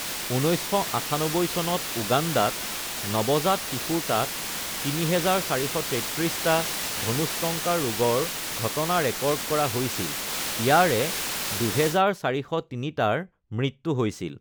১৯৯৮ চনত উগাণ্ডাত নৱজাত শিশুৰ তাত ৩,৪৩৩টা ধনুষ্টংকাৰ ৰোগৰ ঘটনা ৰেকৰ্ড কৰা হৈছিল; ইয়াৰে ২,৪০৩টাৰ মৃত্যু হৈছিল।